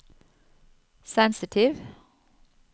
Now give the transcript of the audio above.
sensitiv